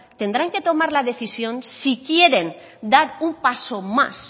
tendrán que tomar la decisión si quieren dar un paso más